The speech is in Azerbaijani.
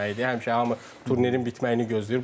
Həmişə hamı turnirin bitməyini gözləyir.